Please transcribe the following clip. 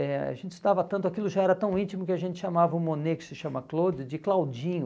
eh A gente estava tanto, aquilo já era tão íntimo que a gente chamava o Monet, que se chama Claude, de Claudinho.